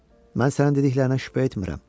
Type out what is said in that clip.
Mən sənin dediklərinə şübhə etmirəm.